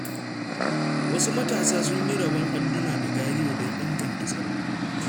Wasu matasa sun yi rabon adduna da gariyo, don inganta tsaro.